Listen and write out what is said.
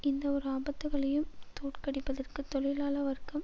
இந்த இரு ஆபத்துக்களையும் தோற்கடிப்பதற்கு தொழிலாள வர்க்கம்